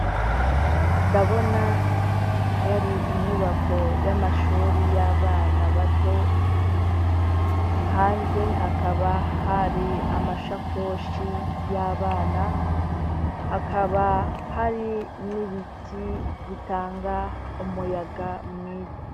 ndabona yari, inyubako y'amashure y'abana bato hanze hakaba hari amashakoshi y'abana hakaba hari n'ibiti bitanga umuyaga mwiza